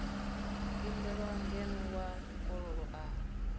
imbelwa ngeno wa mukololo a